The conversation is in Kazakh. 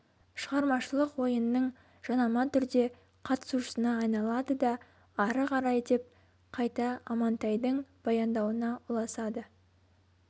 шығармашылық ойынның жанама түрде қатысушысына айналады да ары қарай деп қайта амантайдың баяндауына ұласады